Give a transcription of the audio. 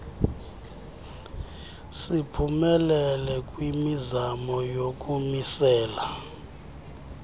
siphumelele kwimizamo yokumisela